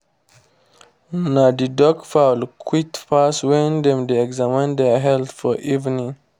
na the duck fowl quiet pass when dem dey examine their health for evening time.